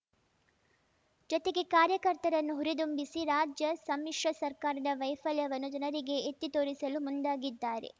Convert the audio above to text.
ಜತೆಗೆ ಕಾರ್ಯಕರ್ತರನ್ನು ಹುರಿದುಂಬಿಸಿ ರಾಜ್ಯ ಸಮ್ಮಿಶ್ರ ಸರ್ಕಾರದ ವೈಫಲ್ಯವನ್ನು ಜನರಿಗೆ ಎತ್ತಿತೋರಿಸಲು ಮುಂದಾಗಿದ್ದಾರೆ